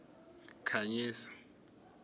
khanyisa